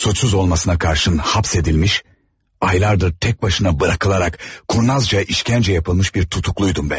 Suçsuz olmasına qarşın həbs edilmiş, aylardır tək başına buraxılaraq kurnazca işkəncə yapılmış bir tutukluydum mən.